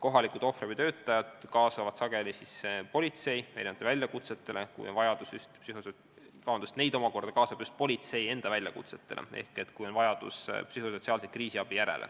Kohalikud ohvriabitöötajad kaasatakse sageli ka siis, kui on tegu politsei väljakutsetega ja läheb vaja psühhosotsiaalset kriisiabi.